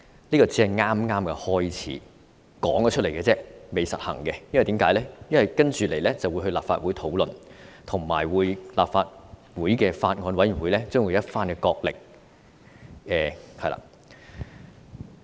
這只是剛開始，口頭提出來而已，並未實行，因為接着會交由立法會討論，而法案委員會將會有一番角力。